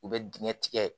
U bɛ dingɛ tigɛ